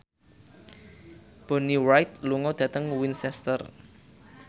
Bonnie Wright lunga dhateng Winchester